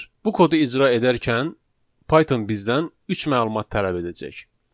Bu kodu icra edərkən Python bizdən üç məlumat tələb edəcək.